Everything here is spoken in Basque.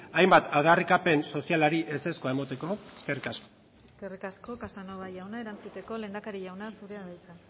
hainbat aldarrikapen sozialari ezezkoa emateko eskerrik asko eskerrik asko casanova jauna erantzuteko lehendakari jauna zurea da hitza